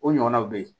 O ɲɔgɔnnaw be yen